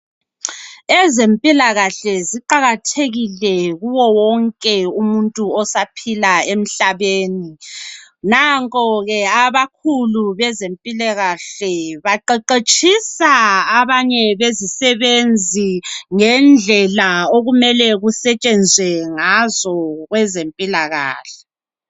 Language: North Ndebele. Ezempilakahle ziqakathekile kuwo wonke umuntu osaphila emhlabeni. Nanko ke abakhulu bezempilakahle baqeqetshisa abanye bezisebenzi ngendlela okumele kusetshenzwe ngazo kwezempilakahle.